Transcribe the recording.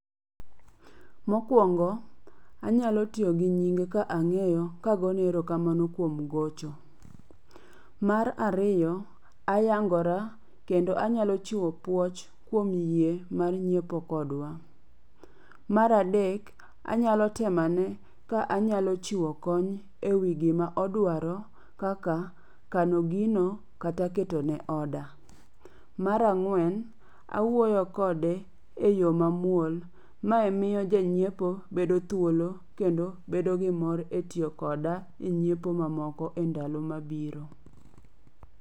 Mokuongo, anyalo tiyo gi nyinge ka ang'eyo kagone erokamano kuom gocho. Mar ariyo, ayangora kendo anyalo chiwo puoch kuom yie mar ng'iepo kodwa. Mar adek, anyalo temo ane ka anyalo chiwo kony ewi gima odwaro kaka kano gino kata ketone order. Mar ang'wen, awuoyo kode eyo mamuol. Ma miyo janyiepo bedo thuolo kendo bedo gimor etiyo koda enyiepo mamoko endalo mabiro